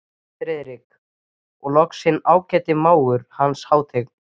FRIÐRIK: Og loks minn ágæti mágur, Hans Hátign